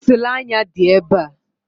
Pensụl anya dị ebe a.